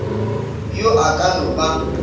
yo a ka no ba